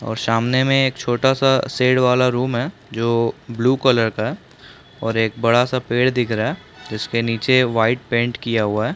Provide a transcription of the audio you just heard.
और सामने मे एक छोटा सा शेड वाला रूम है जो ब्लू कलर का है एक बड़ा सा पेड़ दिख रहा है जिसके निचे वाइट पेंट किया हुआ है।